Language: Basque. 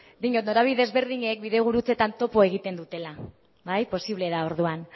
diot norabide ezberdinek bidegurutzetan topo egiten dutela bai posible da orduan